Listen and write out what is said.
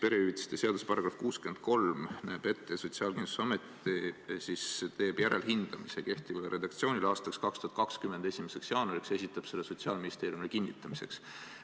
Perehüvitiste seaduse § 63 näeb ette, et Sotsiaalkindlustusamet teeb kehtiva redaktsiooni järelhindamise 2020. aasta 1. jaanuariks ja esitab selle Sotsiaalministeeriumile kinnitamiseks.